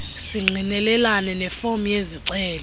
singqinelane nefom yezicelo